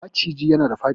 Maciji yana da dafi